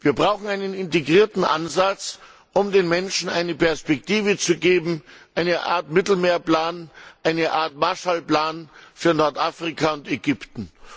Wir brauchen einen integrierten Ansatz, um den Menschen eine Perspektive zu geben, eine Art Mittelmeerplan, eine Art Marshallplan für Nordafrika und Ägypten.